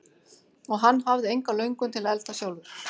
Og hann hafði enga löngun til að elda sjálfur.